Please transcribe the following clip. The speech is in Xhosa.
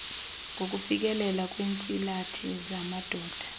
ngokufikeleleka kweentsilathi zamadoda